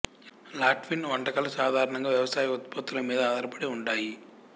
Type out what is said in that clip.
Latvian వంటకాలు సాధారణంగా వ్యవసాయ ఉత్పత్తుల మీద ఆధారపడి ఉంటాయి